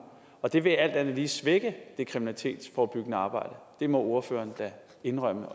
og det vil alt andet lige svække det kriminalitetsforebyggende arbejde det må ordføreren da indrømme